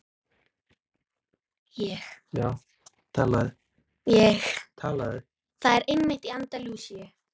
Það er einmitt í anda Lúsíu.